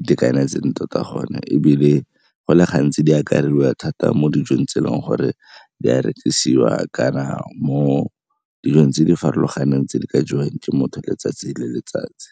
itekanetseng tota gona ebile go le gantsi di akarediwa thata mo dijong tse e leng gore di a rekisiwa kana mo dijong tse di farologaneng tse di ka jewang ke motho letsatsi le letsatsi.